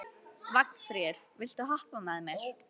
Vagnfríður, viltu hoppa með mér?